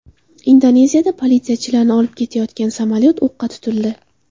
Indoneziyada politsiyachilarni olib ketayotgan samolyot o‘qqa tutildi.